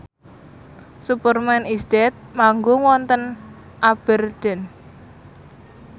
Superman is Dead manggung wonten Aberdeen